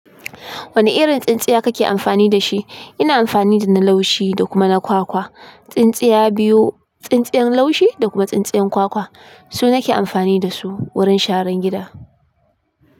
Wane irin tsintsiya kake amfani da shi? Ina amfani da na laushi da kuma na kwakwa. Tsintsiya biyu, tsintsiyan laushi da kuma tsintsiyan kwakwa su nake amfani da su wurin sharan gida.